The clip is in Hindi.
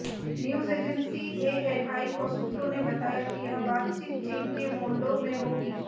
न्यूज एजेंसी एएनआई को सूत्रों ने बताया कि यह बातचीत चीन के मोल्डो में होगी